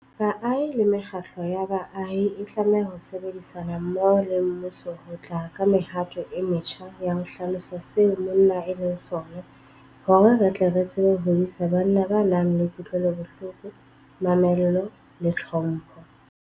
Baahi le mekgatlo ya baahi e tlameha ho sebedisana mmoho le mmuso ho tla ka mehato e metjha ya ho hlalosa seo monna e leng sona hore re tle re tsebe ho hodisa banna ba nang le kutlwelobohloko, mamello le tlhompho.